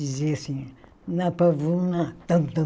Dizia assim, na pavuna, tam, tam